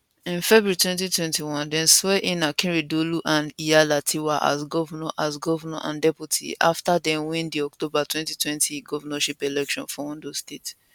in february 2021 dem swearin akeredolu and aiyedatiwa as govnor as govnor and deputy afta dem win di october 2020 govnorship election for ondo state